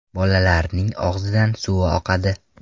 Bolalarining og‘zidan suvi oqadi.